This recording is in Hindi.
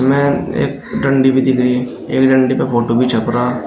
में एक डंडी भी दिख रही है एक डंडी का फोटो भी छप रहा--